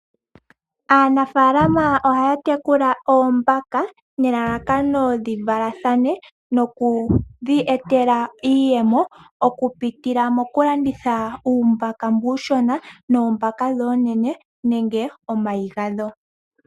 Aanafaalama ohaya tekula oombaka nelalakano dhi valathane noku dhi etela iiyemo okupitila mokulanditha uumbaka mbu uushona noombaka ndhi oonene nenge omayi gadho.